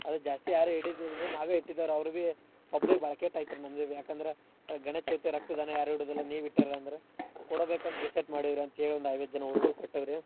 ಅದ್ ಜಾಸ್ತಿ ಯಾರು ಇಡದಿಲ್ರೀ ನಾವೇ ಇಟ್ಟಿದಾರ್ ಅವ್ರವೇ public ಬಾಳ್ ಕೇಟ್ ಆತ್ರೀ ಯಾಕಂದ್ರ ಗಣೇಶ್ಚೌತಿ ರಕ್ತದಾನ ಯಾರು ಇಡುದಿಲ್ಲ ನೀವ್ ಇಟ್ಟಿರಂದ್ರ ಕೊಡಬೇಕಂತ್ decide ಮಾಡಿವ್ರೀ ಅಂತ್ಹೇಳಿ ಒಂದ್ ಐವತ್ತ್ ಜನಾ ಹುಡ್ಗುರ್ ಕೊಟ್ಟೇವ್ರೀ.